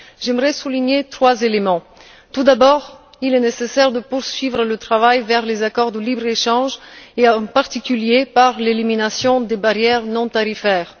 J'aimerais souligner trois éléments tout d'abord, il est nécessaire de poursuivre le travail vers les accords de libre échange et en particulier par l'élimination des barrières non tarifaires.